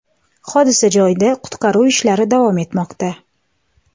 Hodisa joyida qutqaruv ishlari davom etmoqda.